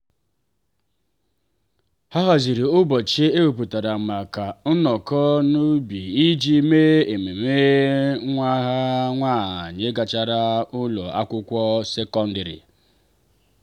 ha haziri ụbọchị ewepụtara maka nnọkọ n'ubi iji mee ememme nwa ha nwanyị ịgacha ụlọ akwụkwọ sekọndrị.